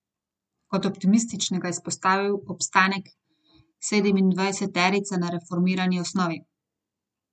Kot optimističnega je izpostavil obstanek sedemindvajseterice na reformirani osnovi.